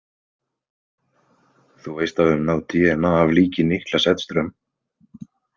Þú veist að við höfum náð dna af líki Niklas Edström?